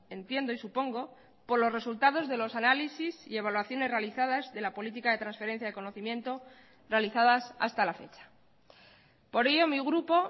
entiendo y supongo por los resultados de los análisis y evaluaciones realizadas de la política de transferencia de conocimiento realizadas hasta la fecha por ello mi grupo